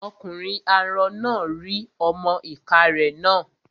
Ọkùnrin arọ náà rí ọmọ-ìká rẹ̀ nà